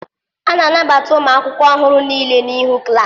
A na-anabata ụmụ akwụkwọ ọhụrụ niile n'ihu klaasi.